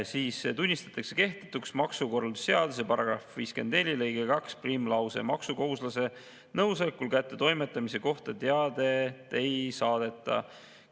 Aga jaa, tunnistatakse kehtetuks maksukorralduse seaduse § 54 lõige 21 lause, et maksukohustuslase nõusolekul kättetoimetamise kohta teadet ei saadeta.